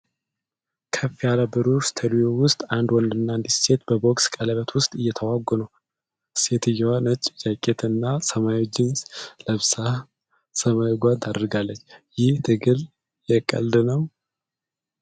ከፍ ያለ ብሩህ ስቱዲዮ ውስጥ አንድ ወንድና አንዲት ሴት በቦክስ ቀለበት ውስጥ እየተዋጉ ነው። ሴትየዋ ነጭ ጃኬት እና ሰማያዊ ጂንስ ለብሳ ሰማያዊ ጓንት አድርጋለች። ይህ ትግል የቀልድ ነው?